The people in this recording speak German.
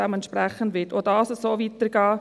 Dementsprechend wird auch dies so weitergehen.